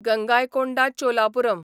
Gangaikonda Cholapuram